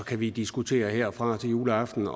kan vi diskutere herfra og til juleaften